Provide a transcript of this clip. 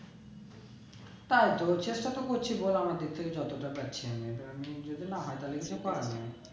চেষ্টা তো করছি বল আমার দিক থেকে যতটা পারছি আমি এবার আমি যদি না হয়ে তাহলে কি